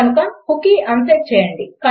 కనుక cookie unset చేయండి